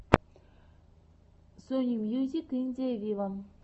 сони мьюзик индия виво